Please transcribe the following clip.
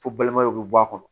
Fo balimayaw bɛ bɔ a kɔnɔ